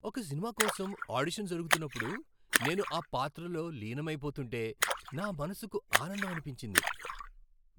ఒక సినిమా కోసం ఆడిషన్ జరుగుతున్నప్పుడు నేను ఆ పాత్రలో లీనమైపోతుంటే నా మనసుకు ఆనందం అనిపించింది.